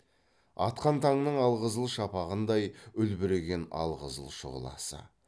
атқан таңның аққызыл шапағындай үлбіреген алқызыл шұғыласы